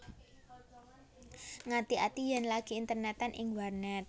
Ngati ati yèn lagi internètan ing warnèt